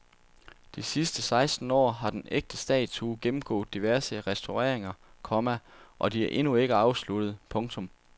De sidste seksten år har den ægte statue gennemgået diverse restaureringer, komma og de er endnu ikke afsluttede. punktum